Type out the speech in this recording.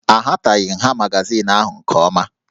Ahataghị nha magazin ahụ nke ọma